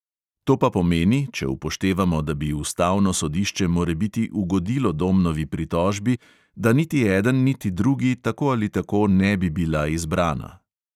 To pa pomeni, če upoštevamo, da bi ustavno sodišče morebiti ugodilo domnovi pritožbi, da niti eden niti drugi tako ali tako ne bi bila izbrana.